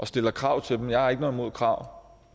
stille krav til dem jeg har ikke noget imod krav